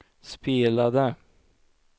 spelade